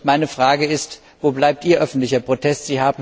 Meine Frage ist Wo bleibt Ihr öffentlicher Protest?